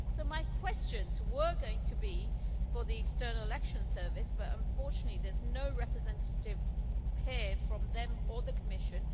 My questions were going to be for the External Action Service, but unfortunately there's no representative here from them or the Commission.